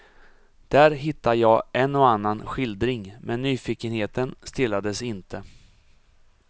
Där hittade jag en och annan skildring, men nyfikenheten stillades inte.